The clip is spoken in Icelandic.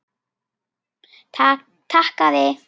Takk, afi.